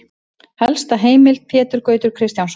Helsta heimild: Pétur Gautur Kristjánsson.